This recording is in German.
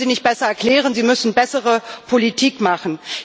Sie müssen sie nicht besser erklären, Sie müssen bessere Politik machen.